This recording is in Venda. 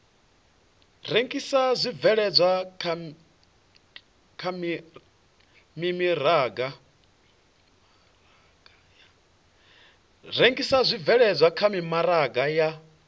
rengisa zwibveledzwa kha mimaraga ya